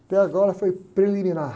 Até agora foi preliminar.